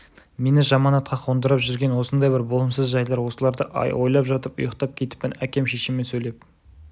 мені жаманатқа қондырып жүрген осындай бір болымсыз жайлар осыларды ойлап жатып ұйықтап кетіппін әкем шешеме сөйлеп